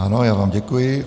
Ano, já vám děkuji.